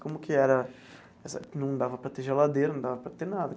Como que era essa... Não dava para ter geladeira, não dava para ter nada.